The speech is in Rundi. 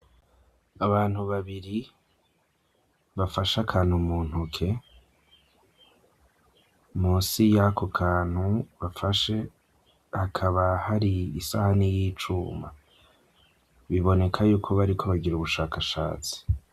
Abantu babiri bafasha kantu mu ntoke munsi y'ako kantu bafashe akaba hari isaha niy'icuma biboneka yuko bariko bagira ubushakashatsi.